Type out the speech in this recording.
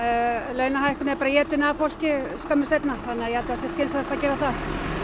launahækkun er bara étin af fólki skömmu seinna þannig að ég held að sé skynsamlegt að gera það